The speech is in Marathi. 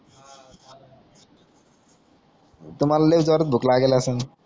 तुमाला लई जोरात भूक लागेल असून